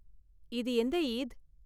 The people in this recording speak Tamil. இது எந்த ஈத்?